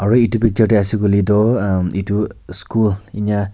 aro itu picture tey ase kuile toh uhm school enia.